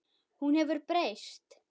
Hún hefur breyst.